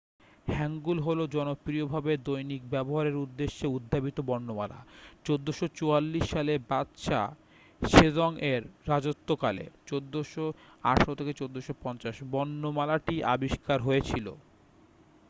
হ্যাঙ্গুল হলো জনপ্রিয় ভাবে দৈনিক ব্যবহারে উদ্দেশ্যে উদ্ভাবিত বর্ণমালা। 1444 সালে বাদশা সেজংয়ের রাজত্বকালে 1418 - 1450 বর্ণমালাটি আবিষ্কার হয়েছিল।